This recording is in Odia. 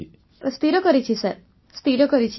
ବର୍ଷାବେନ୍ ସ୍ଥିର କରିଛି ସାର୍ ସ୍ଥିର କରିଛି